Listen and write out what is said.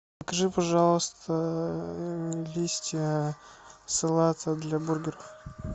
закажи пожалуйста листья салата для бургера